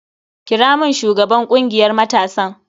Kira mun shugaban kungiyar matasan.